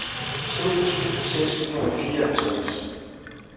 sytten tusind seks hundrede og fireoghalvtreds